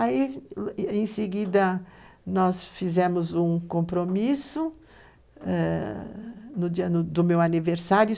Aí, em seguida, nós fizemos um compromisso no dia do meu aniversário.